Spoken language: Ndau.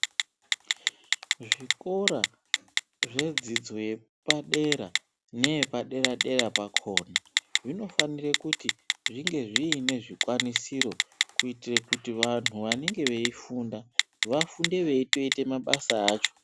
Zvikora zvedzidzo yepadera neyepadera dera pakona zvinofanire kuti zvinge zviine zvikwanisiro kuitire kuti vantu vanenge veifunda vafunde veitoite mabasa acho.